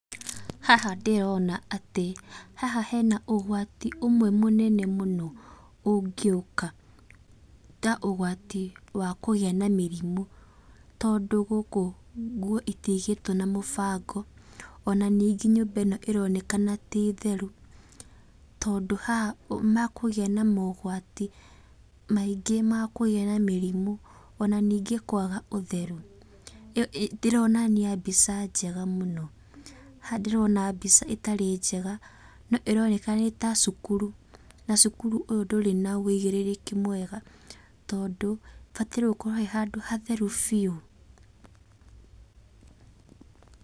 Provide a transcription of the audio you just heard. Haha ndĩrona atĩ, haha hena ũgwati ũmwe mũnene mũno ũngĩũka, ta ũgwati wa kũgĩa na mĩrimũ, tondũ gũkũ nguo itigĩtwo na mũbango, ona ningĩ nyũmba ĩno ĩronekena ti theru, tondũ haha mekũgĩa na mogwati maingĩ ma kũgĩa na mĩrimũ, ona ningĩ kwaga ũtheru. Ĩyo ndĩronania mbica njega mũno. Haha ndĩrona mbica ĩtarĩ njega, no ĩroneka nĩ ta cukuru, na cukuru ũyũ ndũrĩ na wĩigĩrĩrĩki mwega tondũ, ĩbataire gũkorwo ĩ handũ hatheru biũ.